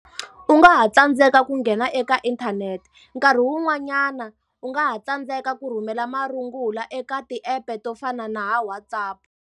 U nga ha tsandzeka ku nghena eka inthanete. Nkarhi wun'wanyana u nga ha tsandzeka ku rhumela marungula eka ti-app-e to fana na va WhatsApp.